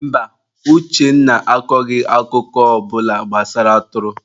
Mba, Uchenna akọghị akụkọ ọ bụla gbasara atụrụ.